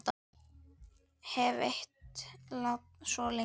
hef leitað svo lengi.